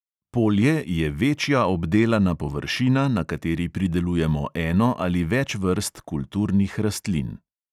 Polje je večja obdelana površina, na kateri pridelujemo eno ali več vrst kulturnih rastlin.